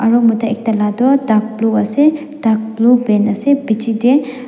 aro mota ekta la tu dark blue ase dark blue pant ase bichi tae.